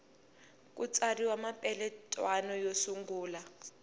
ku tsariwa mapeletwana yo sungula